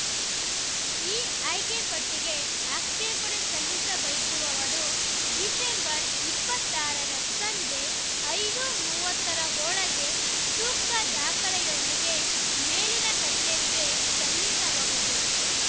ಈ ಆಯ್ಕೆಪಟ್ಟಿಗೆ ಆಕ್ಷೇಪಣೆ ಸಲ್ಲಿಸಬಯಸುವವರು ಡಿಸೆಂಬರ್ ಇಪ್ಪತ್ತ್ ಆರ ರ ಸಂಜೆ ಐದು ಮೂವತ್ತ ರೊಳಗೆ ಸೂಕ್ತ ದಾಖಲೆಯೊಂದಿಗೆ ಮೇಲಿನ ಕಚೇರಿಗೆ ಸಲ್ಲಿಸಬಹುದು